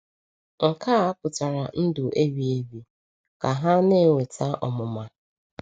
“Nke a a pụtara ndụ ebighị ebi, ka ha na-enweta ọmụma...”